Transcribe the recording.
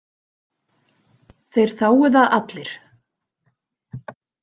Þeir þágu það allir.